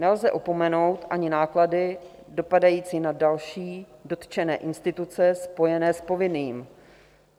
Nelze opomenout ani náklady dopadající na další dotčené instituce spojené s povinným.